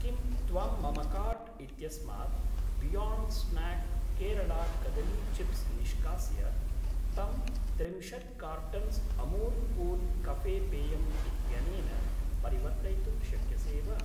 किं त्वं मम काार्ट् इत्यस्मात् बियोण्ड् स्नाक् केरला कदली चिप्स् निष्कास्य तं त्रिंशत् कार्टन्स् अमूल् कूल् कफे पेयम् इत्यनेन परिवर्तयितुं शक्यसे वा?